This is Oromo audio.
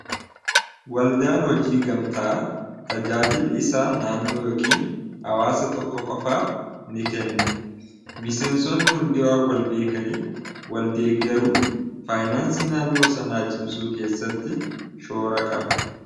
Walda'an hojii gamta'a tajaajili isaa naannoo yookiin hawaasa tokko qofaaf ni kenna. Miseensonni hundiwaa wal beekaniif waldeeggaruun faayinaansii naannoo sanaa cimsuu keessatti shoora qaba.